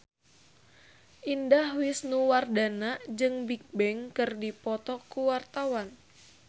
Indah Wisnuwardana jeung Bigbang keur dipoto ku wartawan